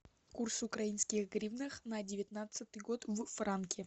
курс украинских гривнах на девятнадцатый год в франки